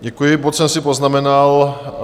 Děkuji, bod jsem si poznamenal.